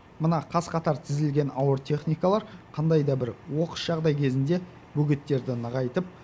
мына қас қатар тізілген ауыр техникалар қандай да бір оқыс жағдай кезінде бөгеттерді нығайтып